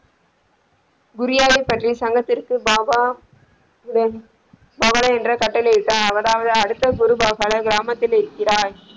குறியாவை பற்றி சங்கத்திற்கு பாப தவளை என்ற கட்டளை இட்டார் அவரது அடுத்த குரு கிராமத்தில் இருக்கிறார்.